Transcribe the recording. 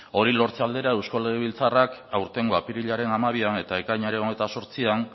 hori lortze aldera eusko legebiltzarrak aurtengo apirilaren hamabian eta ekainaren hogeita zortzian